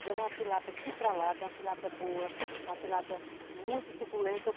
Ela é uma tilápia chitralada, uma tilápia boa, uma tilápia muito suculenta.